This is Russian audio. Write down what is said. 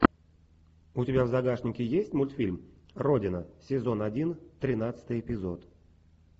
у тебя в загашнике есть мультфильм родина сезон один тринадцатый эпизод